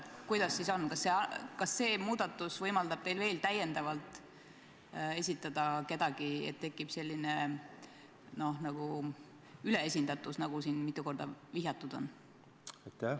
Kuidas siis on, kas see muudatus võimaldab teil veel täiendavalt esitada kedagi ja tekib nagu üleesindatus, nagu siin mitu korda vihjatud on?